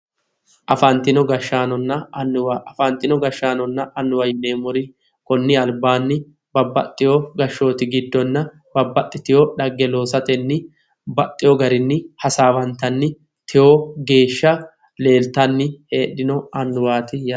Afanitino gashaanonna annuwa afanino gashaanonna annuwa yineemori konni alibaanni babbaxewo gashooti giddonna babbaxitewo dhagge loosatenni baxxewo garinni hasaawanittanni tewo geesha leelitanni heedhanno annuwaati yaate